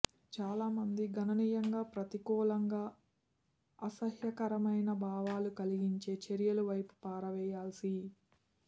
చాలా మంది గణనీయంగా ప్రతికూలంగా అసహ్యకరమైన భావాలు కలిగించే చర్యలు వైపు పారవేయాల్సి